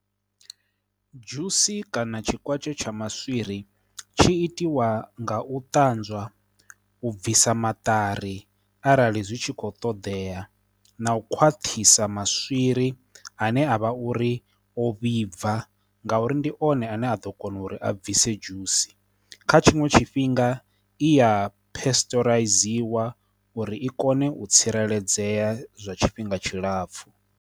Dzhusi kana tshikwatshe tsha maswiri, tshi itiwa nga u ṱanzwa, u bvisa maṱari arali zwi tshi kho ṱoḓea, na u khwaṱhisa maswiri ane avha uri o vhibva, ngauri ndi one ane a ḓo kona uri a bvise dzhusi kha tshiṅwe tshifhinga, i ya pesṱoraidziwa uri i kone u tsireledzea zwa tshifhinga tshilapfhu.